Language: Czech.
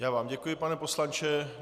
Já vám děkuji, pane poslanče.